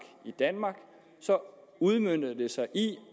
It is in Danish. i danmark så udmønter det sig i